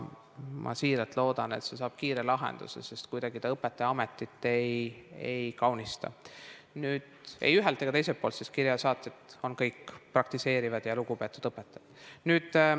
Ma siiralt loodan, et see saab kiire lahenduse, sest kuidagi see õpetajaametit ei kaunista, ei ühelt ega teiselt poolt, kuigi kirjade saatjad on kõik praktiseerivad ja lugupeetud õpetajad.